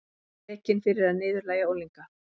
Rekinn fyrir að niðurlægja unglinga